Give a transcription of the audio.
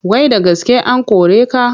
Wai da gaske an kore ka?